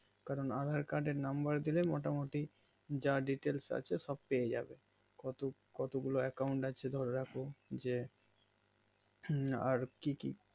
কারণ aadhaar card আর number দিলে মোটামুটি যা detalic আছে সব পেয়ে যাবে কত কতগুলো account আছে যে হুম আর কি কি